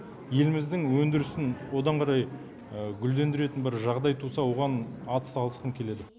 еліміздің өндірісін одан қарай гүлдендіретін бір жағдай туса оған атсалысқым келеді